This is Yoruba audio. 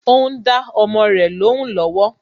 Ó ń dá ọmọ rẹ lóhùn lọ́wọ́